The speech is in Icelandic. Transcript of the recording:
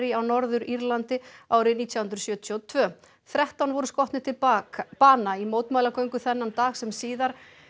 á Norður Írlandi árið nítján hundruð sjötíu og tvö þrettán voru skotnir til bana bana í mótmælagöngu þennan dag sem síðar